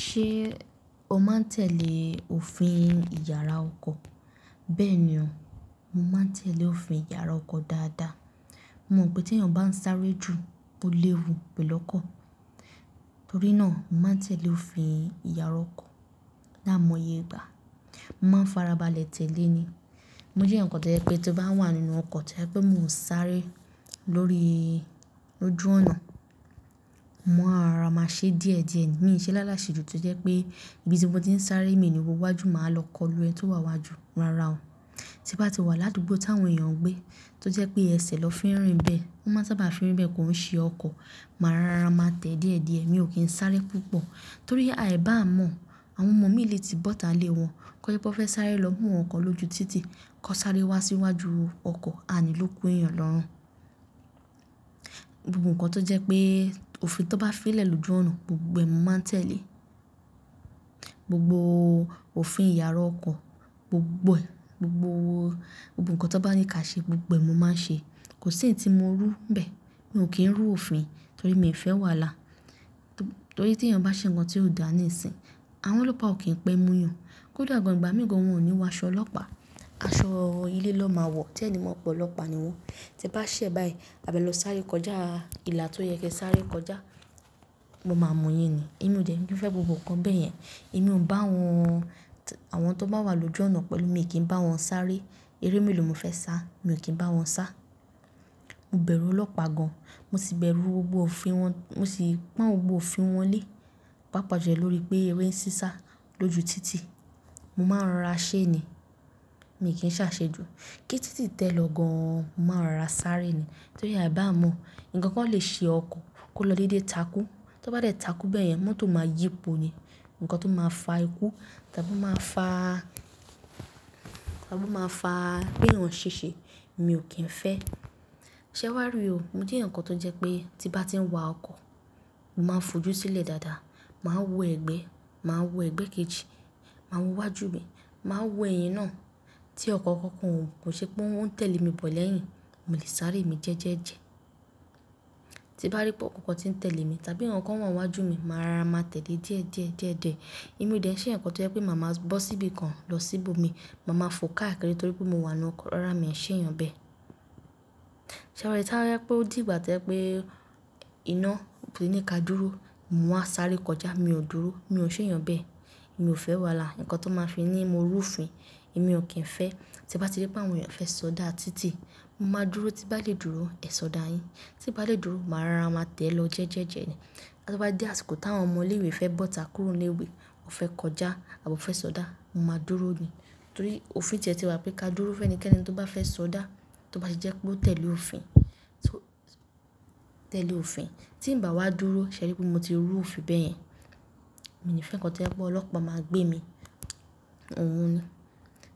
Ṣé o máa ń tẹ̀lé òfin ìyára ọkọ̀? Bẹ́ẹ̀ ni o, mo máa ń tẹ̀lé òfin ìyára ọkọ̀ dáadáa. Mo mọ̀ pé tí èèyàn bá ń sáré ju, ó léwu pẹ̀lú ọkọ̀. Torí náà, mo máa ń tẹ̀lé òfin ìyára ọkọ̀. Láimoye igbà, mo màá n farabalẹ̀ tẹ̀lé ni. Mo jẹ́ eǹkan tó jẹ́ pé to bá wà nínú ọkọ̀ to je pé mo ń sáré lóri ojú ọ̀nà, mo máa n rora máa ṣe díẹ̀díẹ̀ ni. Mi ò ṣe láláṣé ju tí ó jẹ́ pé ibi tí mo ti ń sáré moi ni wò wájú máa wa lọ kọlu ẹni tó wà n wájú, rárá o. Tí n bá ti wà ládùúgbò táwọn èèyàn gbé tó jẹ́ pé ẹṣẹ̀ ni won fin rìn bẹ́ẹ̀, wọ́n máa sábà fin rìn bẹ́ẹ̀ koi ṣe ọkọ̀. Màá rara máa tẹ̀ ẹ́ díẹ̀díẹ̀, mi ò kí ń sáré púpọ̀. Torí àì bá mọ̀, àwọn ọmọ mii lè ti bọ́ta ilé wọn. Kọ́jepe wón fẹ́ sáré lọ mú nnkan kan lójú títì, knó sáré wá síwájú ọkọ̀, àní ló kú èèyàn lọ́rùn. Gbogbo ǹkan tó jẹ́ pé òfin tón bá fi lẹ̀ lójú ọ̀nà, gbogbo ẹ̀ mo máa ń tẹ̀lé. Gbogbo òfin ìyára ọkọ̀, gbogbo ẹ̀, gbogbo ǹkan tó bá ní ká ṣe, gbogbo ẹ̀ mo máa ń ṣe. Kò sí eyi tí mo rú n bẹ́ẹ̀. Mi ò kí ń rú òfin torí mi ò fẹ́ wàlá. Torí tí èèyàn bá ṣe ǹkan tió dà níìsín, àwọn ọlọ́pàá ò kí ń pẹ́ mú yan. Kódà gan ìgbà mii gan wọn ò ní wọ aṣọ ọlọ́pàá, aṣọ ilé ni wọ́n máa wọ̀, tí ẹ̀ni mó pe ọlọ́pàá ni wọ̀n. Tí e bá ṣẹ́ báyìí, a bi e lọ sáré kọjá ìlà tó yẹ kí ẹ sáré kọjá, won máa mu yin ni. Èmi ò dẹ̀ní, mi ò fẹ́ gbogbo ǹkan bẹ́yẹn. Èmi ò ń bá àwọn tó bá wà lójú ọ̀nà pẹ̀lú mi, èmi kì n bá wọn sáré. Eré melo ni mo fẹ́ sá, mi ò kí ń bá wọn sá. Mo bẹ̀rù ọlọ́pàá gan. Mo ti bẹ̀rù gbogbo òfin wọn, mo sì pọ́n gbogbo òfin wọn lé. Paapàa julo lórí pé eré ṣí sá lójú títì, mo máa ń rora ṣé ni, mi ò kí ń ṣàṣejù. Kí títì tẹ́ lọ gan, mo máa n rora sáré ni. Torí àì bá mọ̀, ǹkan kan lè ṣe ọkọ̀ kó lọ dédé takú. Tí ó bá dé takú bẹ́yẹn, mọ́tò máa yípo ni, ǹkan tó máa fa ikú tàbí máa fa pe èèyàn ṣe ṣe, mi ò kí ń fẹ́. Ṣé r wàá rí i o? Mo jẹ́ eeyan kan tó jẹ́ pé tí n bá ti ń wa ọkọ̀, màá n fòjú sílẹ̀ dáadáa. Màá wo ẹgbẹ́, màá wo ẹgbẹ́ kejì, màá wo wájú mi, màá wo ẹ̀yìn náà tí ọkọ̀ kankan ò ṣe pé ó ń tẹ̀lé mi bọ̀ lẹ́yìn. Molè sáré mi jẹ́ẹ́jẹ́jẹ. Tí n bá rí pé ọkọ̀ kan ti ń tẹ̀lé mi tàbí ǹkan kan wà n wájú mi, màá rora máa tẹ̀lẹ́ díẹ̀díẹ̀, díẹ̀díẹ̀. Èmi ò de n ṣe eeyan kan tó jẹ́ pé màá máa bọ́ síbi kan lọ síbò mi. Màá máa fo káàkiri torí pé mo wà nínú ọkọ̀, rárá mi ò ṣe èèyàn bẹ́ẹ̀. Ṣéwari toba je pe o di ìgbà tó jẹ́ pé iná òní ká dúró, mo wa sáré kọjá, mi ò dúró, mi ò ṣe èèyàn bẹ́ẹ̀. Èmi ò fẹ́ wàhalá, ǹkan tón máa fi ní mo rú fin, èmi ò kí ń fẹ́. Tí n bá ti rí pé àwọn èèyàn fẹ́ sọdá títì, mo máa dúró. Tí n bá lè dúró, ẹ sọdá yin. Tí n bá lè dúró, màá rora máa tẹ̀ ẹ́ lọ jẹ́ẹ́jẹ́ ni. Tí ó bá dé àsìkò táwọn ọmọ ilé ìwé fẹ́ bọ́ta kúrò nílé ìwé, ó fẹ́ kọjá àbí ó fẹ́ sọdá, mo máa dúró ni. Torí òfin tie ti wà pé ká dúró fún ẹnikẹ́ni tó bá fẹ́ sọdá, tó bá ṣe jẹ́ pé ó tẹ̀lé òfin, tí ń bá wá dúró, ṣé ẹ eri pé mo ti rú òfin bẹ́ẹ̀ yẹn. Mi ò ní fẹ́ ǹkan tó jẹ́ pé ọlọ́pàá máa gbé mi, òun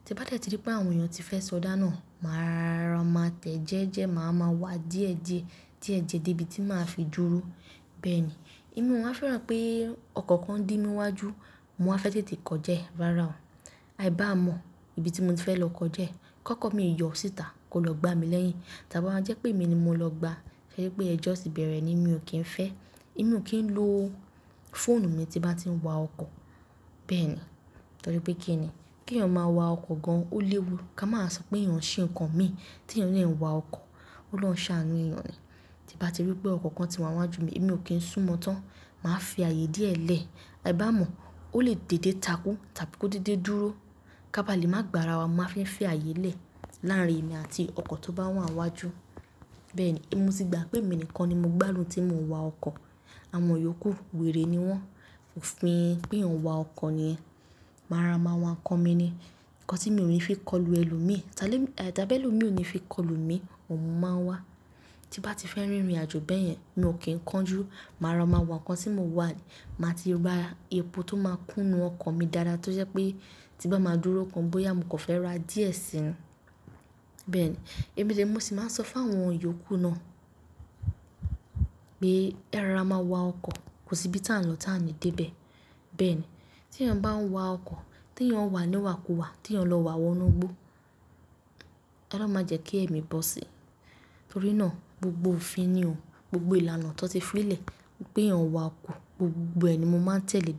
Tí n bá dé tí rí pé àwọn èèyàn ti fẹ́ sọdá náà, màá rora máa tẹ̀ ẹ́ jẹ́ẹ́jẹ́, màá máa wá díẹ̀díẹ̀, díẹ̀díẹ̀ dé ibi tí màá fi dúró. Bẹ́ẹ̀ ni. Èmi ò máa fẹ́ràn pé ọkọ̀ kan ń dí mi wájú, mo máa fẹ́ tètè kọjá ẹ, rárá o. Aì bá mọ̀ ibi tí mo ti fẹ́ lọ kọjá ẹ. Kọ́kọ́ mii yọ síta kó lọ gbá mi lẹ́yìn tàbí ó máa jẹ́ pé mi ni mo lọ gbá ẹ. Ṣé ẹrí pé ẹjọ́ ti bẹ̀rẹ̀ ni? Mi ò kí ń fẹ́. Èmi ò kí ń lo fóònù mi tí n bá ti ń wa ọkọ̀. Bẹ́ẹ̀ ni. Torí pé kínni? Kí èèyàn máa wa ọkọ̀ gan, ó léwu. Ká máa wa sọ pé èèyàn ṣe ǹkan mi tí èèyàn dè ń wa ọkọ̀. Òlòhùn ṣàánú èèyàn ni. Tí n bá ti rí pé ọkọ̀ kan ti wá n wájú mi, èmi ò kí ń sún mọ́ọ́ tán. Màá fi ààyè díẹ̀ lẹ̀. Aì bá mọ̀, ó lè dédé takú tàbí kó dédé dúró. Ká ba lè máa gbára wa, mo máa fi ń fi ààyè lẹ̀ láàrin èmi àti ọkọ̀ tó bá wà n wájú. Bẹ́ẹ̀ ni. Èmi ti gbà pé èmi nìkan ni mo gbádùn tí mo ń wa ọkọ̀. Àwọn yòókù weèrè ni wọ́n. Òfin pe èèyàn wa ọkọ̀ niyen Màá rora máa wa ǹkan mi ni. Ǹkan tí mi ò ní fi kọlu ẹlòmíì, tàbí ẹlòmíì ò ní fi kọlu mi, òhun máa n wá. Tí n bá ti fẹ́ rìnrìnàjò bẹ́yẹn, mi ò kí ń kánjú, màá ra máa wa ǹkan tí mo wà ni. Màá ti ra epo tó máa kúnnu ọkọ̀ mi dáadáa toje pé tí n bá máa dúró gan bóyá mo kan fẹ́ ra díẹ̀ sí ni Bẹ́ẹ̀ ni. Èmi de re mo sì máa ń sọ fún àwọn yòókù náà pé erora máa wa ọkọ̀, kò sí ibi tí à ń lọ tí a ní dé bẹ̀. Bẹ́ẹ̀ ni. Tí èèyàn bá ń wa ọkọ̀, tí èèyàn n wà níwà kuwà, tí èèyàn lọ wà wọnú igbó, olohun máa jẹ́ kí ẹ̀mi bọ́ sí i. Torí náà gbogbo òfin ni o. Gbogbo ìlànà tó n ti fii lẹ̀ pé èèyàn wa ọkọ̀, gbogbo ẹ̀ ni mo máa ń tẹ̀lé.